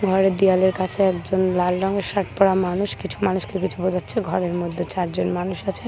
ঘরের দেওয়ালের কাছে একজন লাল রঙের শার্ট পড়া মানুষ কিছু মানুষকে কিছু বোঝাচ্ছেঘরের মধ্যে চারজন মানুষ আছে ।